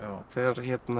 þegar